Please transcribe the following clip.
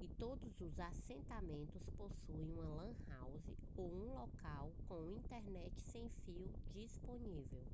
e todos os assentamentos possuem uma lan house ou um local com internet sem fio disponível